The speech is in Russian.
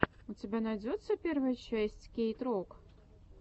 у тебя найдется первая часть кейт рок